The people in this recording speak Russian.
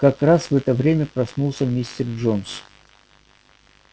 как раз в это время проснулся мистер джонс